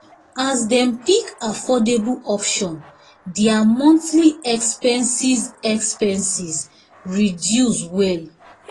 as dem pick affordable options their monthly expenses expenses reduce well.